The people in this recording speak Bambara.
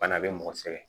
Bana bɛ mɔgɔ sɛgɛn